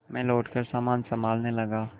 मैं लौटकर सामान सँभालने लगा